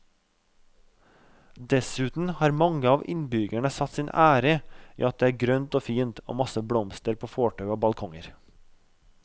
Dessuten har mange av innbyggerne satt sin ære i at det er grønt og fint og masse blomster på fortau og balkonger.